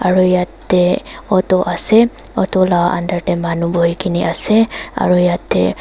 aru yate auto ase auto lah under teh manu bohi ki ne ase aru yate--